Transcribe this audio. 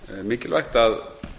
mikilvægt að